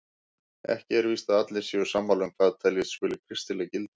Ekki er víst að allir séu sammála um hvað teljast skuli kristileg gildi.